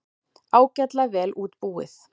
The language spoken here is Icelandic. Ágætlega vel útbúið.